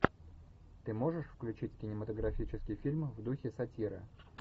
ты можешь включить кинематографический фильм в духе сатира